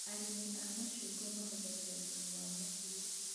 Arĩmi a macungwa mahũthagĩra thumu wa mahiũ